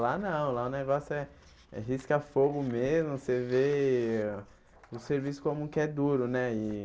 Lá não, lá o negócio é é risca-fogo mesmo, você vê o serviço como que é duro, né? E